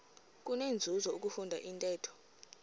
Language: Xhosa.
kunenzuzo ukufunda intetho